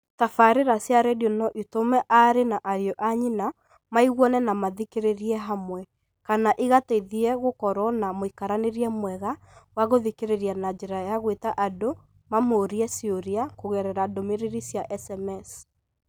Tabarĩĩa cia redio no itũme aarĩ na ariũ a nyina maiguane na mathikĩrĩrie hamwe, kana igateithie gũkorũo na mũikaranĩrie mwega wa gũthikĩrĩria na njĩra ya gwita andũ mamũrĩre ciũria kũgerera ndũmĩrĩri cia SMS.